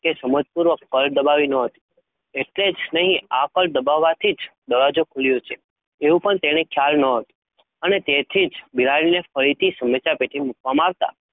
કે તે સમજ પૂર્વક, ફલ દબાવી નો હતી, એટલે જ નહીં, આ ફલ દબાવા થી દરવાજો ખુલ્યો છે? એવું પણ એની ખ્યાલ નો હતી અને તેથીજ બિલાડી ફરીથી સમસ્યા, પેટી મૂકવામાં આવતાં,